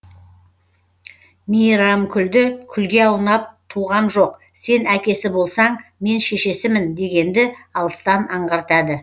мейірамкүлді күлге аунап туғам жоқ сен әкесі болсаң мен шешесімін дегенді алыстан аңғартады